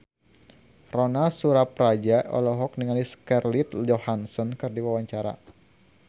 Ronal Surapradja olohok ningali Scarlett Johansson keur diwawancara